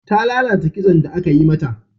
Ta lalata kitson da aka yi mata.